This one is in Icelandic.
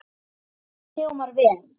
Þetta hljómar vel.